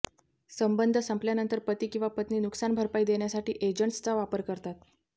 संबंध संपल्यानंतर पती किंवा पत्नी नुकसानभरपाई देण्यासाठी एजंट्सचा वापर करतात